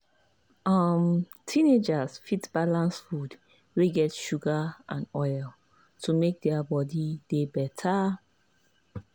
um teenagers fit balance food wey get sugar and oil to make their body body dey better.